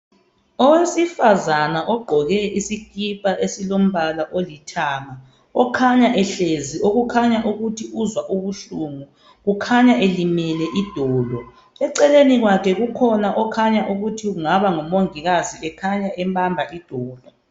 Owesifazana ogqoke isikhipha esilombala olithanga uhlezi ukhanya uzwa ubuhlungu ulimele idolo. Eceleni kwakhe kulomongikazi ombamba idolo.